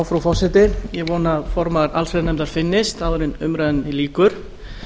frú forseti ég vona að formaður allsherjarnefndar finnist áður en umræðunni lýkur